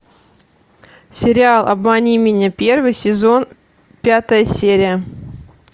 сериал обмани меня первый сезон пятая серия